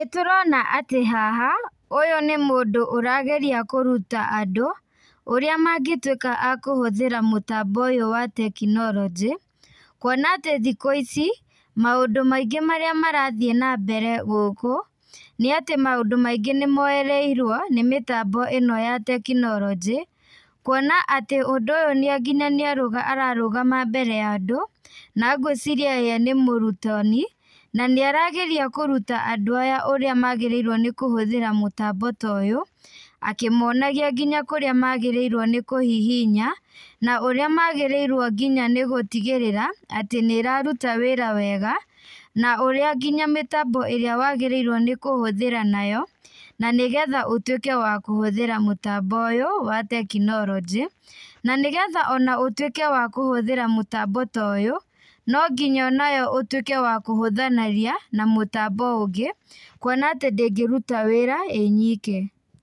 Nĩtũrona atĩ haha, ũyũ nĩ mũndũ ũrageria kũruta andũ, ũrĩa mangĩtuĩka akũhũthĩra mũtambo ũyũ wa tekinoronjĩ, kwona atĩ thikũ ici, maũndũ maingĩ marĩa marathiĩ na mbere gũkũ, nĩatĩ maũndũ maingĩ nĩ moyereirwo nĩ mĩtambo ĩno ya tekinoronjĩ, kwona atĩ ũndũ ũyũ nĩ nginya nĩ ararũgama mbere ya andũ, nangwĩciria ye nĩ mũrutani, na nĩ arageria kũruta andũ aya ũrĩa magĩrĩirwo nĩ kũhũthĩra mũtambo ta ũyũ, akĩmonagia nginya kũrĩa magĩrĩirwo nĩ kũhihinya, na ũrĩa magĩrĩirwo nginya nĩ gũtigĩrĩra atĩ nĩ ĩraruta wĩra wega, na ũrĩa nginya mĩtambo ĩrĩa wagĩrĩirwo nĩ kũhũthĩra nayo, na nĩgetha ũtuĩke wa kũhũthĩra mũtambo ũyũ wa tekinoronjĩ, na nĩgetha ona ũtuĩke wa kũhũthĩra mũtambo ta ũyũ , nonginya onawe ũtuĩke wa kũhũthanĩria na mũtambo ũngĩ, kwona atĩ ndĩngĩruta wĩra ĩnyike.